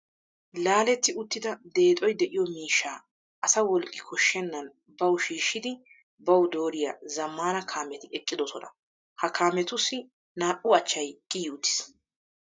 Laaletti uttida deexoy de'iyo miishshaa asa wolqqi koshshennan bawu shiishshidi bawu dooriya zammaana kaameti eqqidosona. Ha kaametussi naa"u achchay kiyi uttiis.